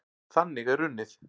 Þannig er unnið.